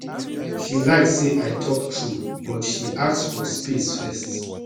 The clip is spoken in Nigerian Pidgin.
she like say i talk true but she ask for space first